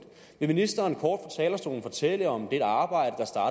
vil ministeren kort fra talerstolen fortælle om dette arbejde